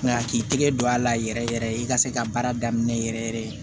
Nka k'i tɛgɛ don a la yɛrɛ yɛrɛ yɛrɛ i ka se ka baara daminɛ yɛrɛ yɛrɛ ye